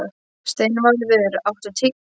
Steinvarður, áttu tyggjó?